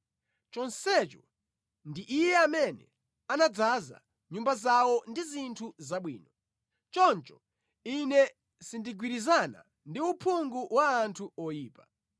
Chonsecho ndi Iye amene anadzaza nyumba zawo ndi zinthu zabwino, choncho ine sindigwirizana ndi uphungu wa anthu oyipa.